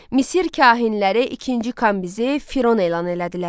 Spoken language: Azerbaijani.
Misir kahinləri ikinci Kambizi Firon elan elədilər.